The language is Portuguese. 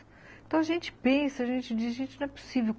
Então a gente pensa, a gente diz, gente, não é possível.